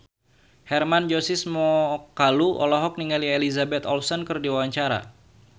Hermann Josis Mokalu olohok ningali Elizabeth Olsen keur diwawancara